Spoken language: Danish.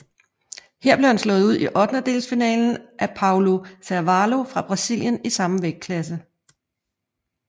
Her blev han slået ud i ottendedelsfinalen af Paulo Carvalho fra Brasilien i samme vægtklasse